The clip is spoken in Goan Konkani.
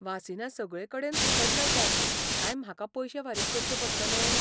वासिनां सगळेकडेन फुकट मेळटात काय म्हाका पयशें फारीक करचें पडटले?